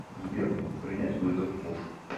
сбер принять вызов муж